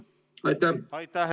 Aitäh!